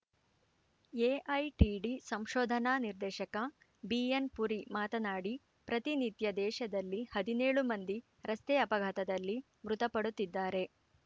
AITD ಸಂಶೋಧನಾ ನಿರ್ದೇಶಕ BN Puri ಮಾತನಾಡಿ ಪ್ರತಿ ನಿತ್ಯ ದೇಶದಲ್ಲಿ ಹದಿನೇಳು ಮಂದಿ ರಸ್ತೆ ಅಪಘಾತದಲ್ಲಿ ಮೃತಪಡುತ್ತಿದ್ದಾರೆ